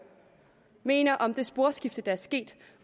mener om det sporskifte der er sket